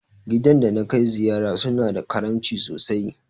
Gidan da na kai ziyara su na da karamci sosai